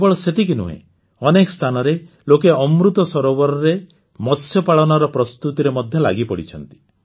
କେବଳ ସେତିକି ନୁହେଁ ଅନେକ ସ୍ଥାନରେ ଲୋକେ ଅମୃତ ସରୋବରରେ ମତ୍ସ୍ୟ ପାଳନର ପ୍ରସ୍ତୁତିରେ ମଧ୍ୟ ଲାଗିପଡ଼ିଛନ୍ତି